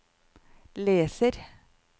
leser